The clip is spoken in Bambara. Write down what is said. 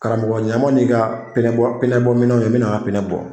Karamɔgɔ ɲ'an ma n'i ka pine bɔ pine bɔ minɛnw ye mɛna n ka pine bɔ.